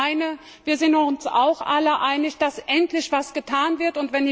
Ich meine, wir sind uns auch alle einig, dass endlich etwas getan wird.